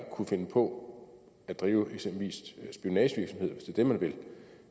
kunne finde på at drive eksempelvis spionagevirksomhed hvis det er det man vil